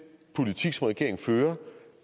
politik som regeringen fører